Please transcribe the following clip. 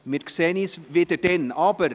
Wir sehen uns dann wieder.